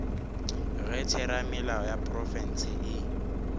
ge theramelao ya profense e